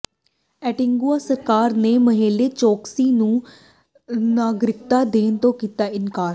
Antigua ਸਰਕਾਰ ਨੇ ਮੇਹੁਲ ਚੌਕਸੀ ਨੂੰ ਨਾਗਰਿਕਤਾ ਦੇਣ ਤੋਂ ਕੀਤਾ ਇਨਕਾਰ